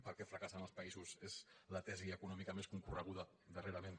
per què fracassen els països és la tesi econòmica més concorreguda darrerament